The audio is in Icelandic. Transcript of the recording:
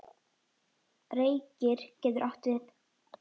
Reykir getur átt við